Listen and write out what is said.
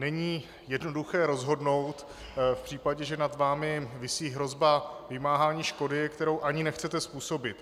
Není jednoduché rozhodnout v případě, že nad vámi visí hrozba vymáhání škody, kterou ani nechcete způsobit.